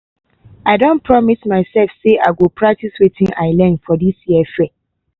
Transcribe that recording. i don promise myself say i go practice wetin i learn for this year fair.